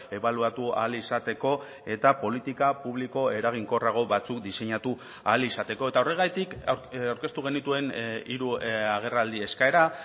ebaluatu ahal izateko eta politika publiko eraginkorrago batzuk diseinatu ahal izateko eta horregatik aurkeztu genituen hiru agerraldi eskaera